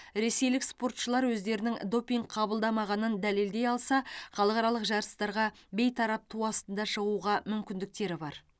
ресейлік спортшылар өздерінің допинг қабылдамағанын дәлелдей алса халықаралық жарыстарға бейтарап ту астында шығуға мүмкіндіктері бар